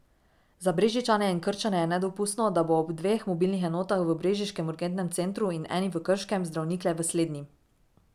Za Brežičane in Krčane je nedopustno, da bo ob dveh mobilnih enotah v brežiškem urgentnem centru in eni v Krškem zdravnik le v slednji.